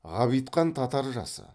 ғабитхан татар жасы